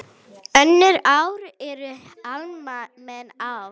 Önnur ár eru almenn ár.